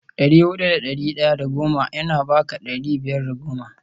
dari hudu da dari daya da goma yana baka dari biyar da goma